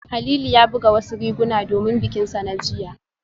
Halilu ya buga wasu riguna domin bikinsa na jiya